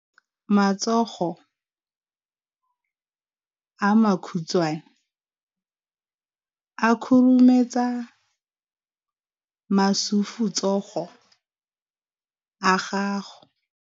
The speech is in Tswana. Matsogo a makhutshwane a khurumetsa masufutsogo a gago.